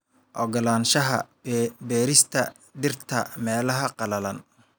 Oggolaanshaha beerista dhirta meelaha qallalan.